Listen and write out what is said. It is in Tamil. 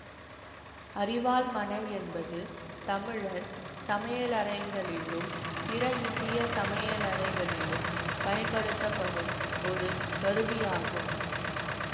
அரிவாள்மணை என்பது தமிழர் சமையலறைகளிலும் பிற இந்திய சமையலறைகளிலும் பயன்படுத்தப்படும் ஒரு கருவி ஆகும்